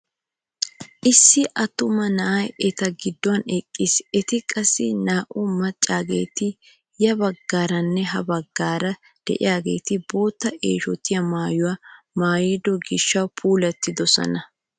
Issi attuma na'ay eta gidduwaan eqqis eti qassi naa"u maccaageti ya baggaaranne ha baggaara de'iyaageti bootta eeshotiyaa maayuwaa maayido gishshawu puulettidosona!